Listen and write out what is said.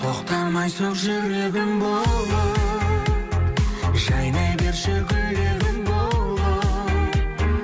тоқтамай соқ жүрегім болып жайнай берші гүлегім болып